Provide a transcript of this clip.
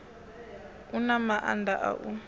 i na maanda a u